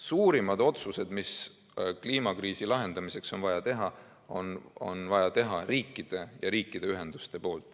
Suurimad otsused, mis kliimakriisi lahendamiseks on vaja teha, on vaja teha riikidel ja riikide ühendustel.